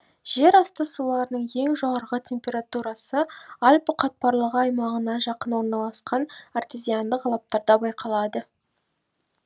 жер асты суларының ең жоғарғы температурасы альпі қатпарлығы айимағына жақын орналасқан артезиандық алаптарда байқалады